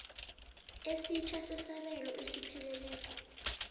esitjha sesabelo esiphelileko